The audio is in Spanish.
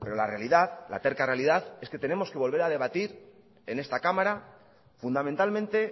la realidad la terca realidad es que tenemos que volver a debatir en esta cámara fundamentalmente